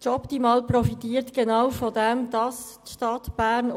«Jobtimal» profitiert genau davon, dass die Stadt Bern